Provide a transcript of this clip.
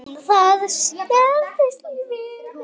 Um það snerist líf mitt.